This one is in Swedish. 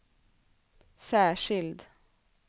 särskild